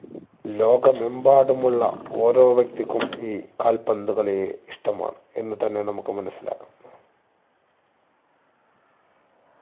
ലോകമെമ്പാടുമുള്ള ഓരോ വ്യക്തിക്കും ഈ കൽപ്പന്തുകളിയെ ഇഷ്ട്ടമാണ് എന്ന് തന്നെ നമ്മുക്ക് മനസിലാകാം